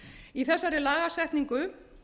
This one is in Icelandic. í þessari lagasetningu